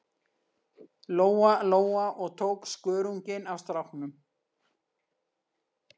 Lóa-Lóa og tók skörunginn af stráknum.